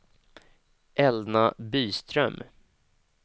Elna Byström